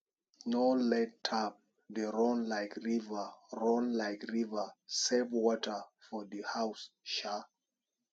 no let tap dey run like river run like river save water for house um